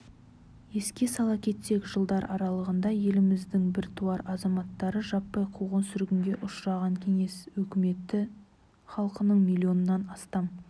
еске сала кетсек жылдар аралығында еліміздің біртуар азаматтары жаппай қуғын-сүргінге ұшыраған кеңес өкіметі халқының миллионнан астам